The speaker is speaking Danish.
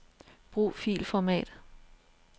Brug filformat.